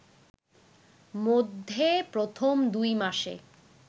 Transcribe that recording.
মধ্যে প্রথম দুই মাসে